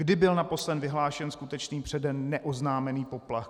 Kdy byl naposledy vyhlášen skutečný, předem neoznámený poplach?